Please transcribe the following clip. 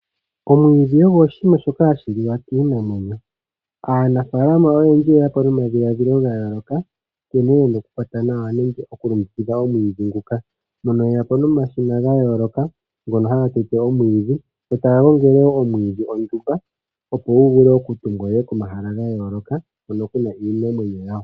Omwiidhi ogo iikulya kiinamwenyo. Aanafaalama oyendji oye ya po nomadhiladhilo ga yooloka ngene yena oku kwata nawa nenge oku longekidha omwiidhi nguka. Oye yapo nomashina ga yooloka ngono haga tete omwiidhi go taga gongele woo omwiidhi ondumba opo guvule oku tutilwa komahala ga yooloka hono kuna iimeno yawo.